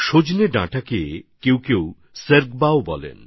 একে অনেকে সর্গওয়া বলেন